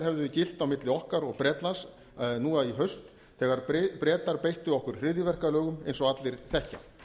hefðu gilt milli okkar og bretlands nú í haust þegar bretar beittu okkur hryðjuverkalögum eins og allir þekkja